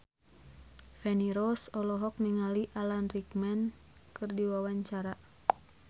Feni Rose olohok ningali Alan Rickman keur diwawancara